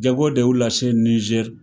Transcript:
Jago de y'u lase Nizɛri